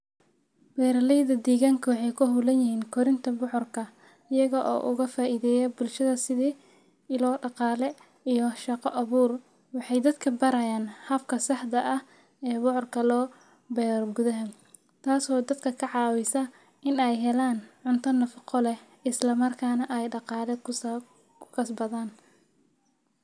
Beeraleyda deegaanka waxay ku hawlan yihiin korinta bocorka, iyaga oo uga faa’iideeya bulshada sidii ilo dhaqaale iyo shaqo abuur. Waxay dadka barayaan habka saxda ah ee bocorka loo beero gudaha, taasoo dadka ka caawisa in ay helaan cunto nafaqo leh isla markaana ay dhaqaale ku kasbadaan.